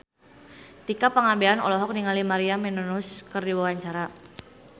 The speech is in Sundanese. Tika Pangabean olohok ningali Maria Menounos keur diwawancara